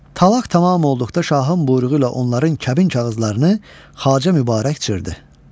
Talaq tamam olduqda şahın buyruğu ilə onların kəbin kağızlarını Xacə Mübarək cırdı.